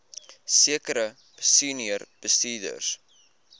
sekere senior bestuurders